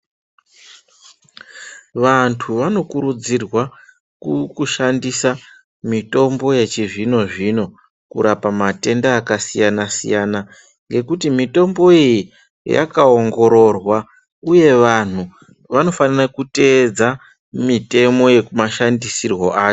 Vantu vanokurudzirwa kushandisa mitombo yechizvino zvino kurapa matenda akasiyana siyana ngekuti mitombo iyi yakaongororwa uye vantu vanofanira kutevedza mitemo yemashandisirwo acho.